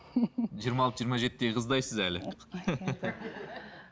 жиырма алты жиырма жетідегі қыздайсыз әлі